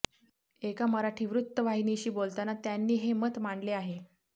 एका मराठी वृत्तवाहिनीशी बोलताना त्यांनी हे मत मांडले आहे